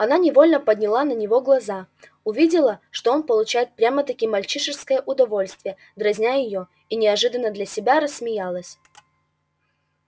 она невольно подняла на него глаза увидела что он получает прямо-таки мальчишеское удовольствие дразня её и неожиданно для себя рассмеялась